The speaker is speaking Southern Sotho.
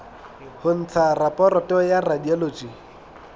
ho ntsha raporoto ya radiology